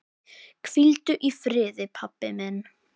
Hvíldu í friði, pabbi minn.